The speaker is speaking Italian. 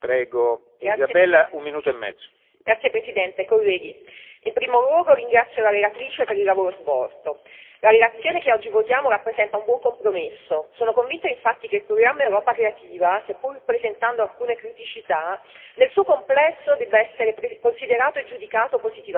Signor Presidente, onorevoli colleghi, in primo luogo ringrazio la relatrice per il lavoro svolto. La relazione che oggi votiamo rappresenta un buon compromesso. Sono convita infatti che il programma Europa creativa, seppur presentando alcune criticità, nel suo complesso debba essere considerato e giudicato positivamente.